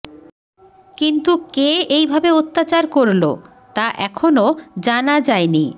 কিন্তু কে এইভাবে অত্যাচার করল তা এখনও জানা যায়নি